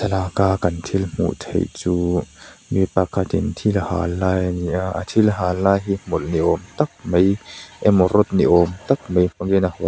laka kan thil hmuh theih chu mi pakhatin thil a hal lai a ni a a thil hal lai hi hmawlh ni awm tak mai emaw rod ni awm tak mai hmang hian a hawlh a.